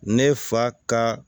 Ne fa ka